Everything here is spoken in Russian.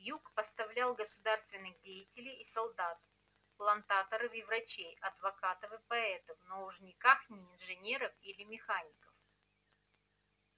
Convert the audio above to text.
юг поставлял государственных деятелей и солдат плантаторов и врачей адвокатов и поэтов но уж никак не инженеров или механиков